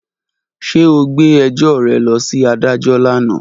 Ṣe o gbe ẹjọ rẹ lọ si adajọ lana?